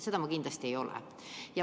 Seda ma kindlasti ei ole.